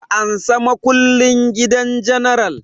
Ka ansa makullin gidan general!